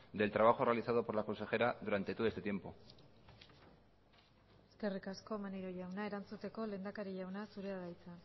del trabajo realizado por la consejera durante todo este tiempo eskerrik asko maneiro jauna erantzuteko lehendakari jauna zurea da hitza